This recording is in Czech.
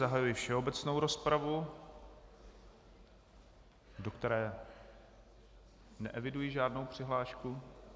Zahajuji všeobecnou rozpravu, do které neeviduji žádnou přihlášku.